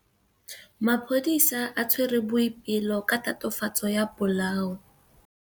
Maphodisa a tshwere Boipelo ka tatofatsô ya polaô.